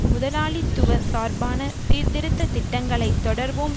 முதலாளித்துவ சார்பான சீர்திருத்த திட்டங்களை தொடர்வோம்